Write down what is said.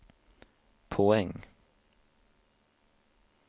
poäng